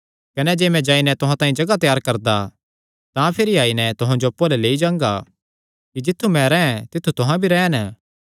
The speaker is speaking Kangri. कने जे मैं जाई नैं तुहां तांई जगाह त्यार करदा तां भिरी आई नैं तुहां जो अप्पु अल्ल लेई जांगा कि जित्थु मैं रैंह् तित्थु तुहां भी रैह़न